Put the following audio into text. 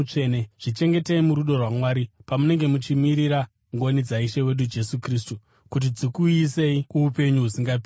Zvichengetei murudo rwaMwari pamunenge muchimirira ngoni dzaIshe wedu Jesu Kristu kuti dzikuuyisei kuupenyu husingaperi.